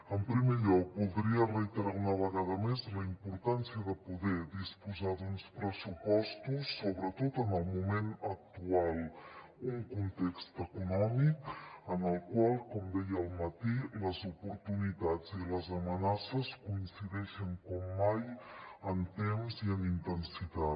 en primer lloc voldria reiterar una vegada més la importància de poder disposar d’uns pressupostos sobretot en el moment actual un context econòmic en el qual com deia al matí les oportunitats i les amenaces coincideixen com mai en temps i en intensitat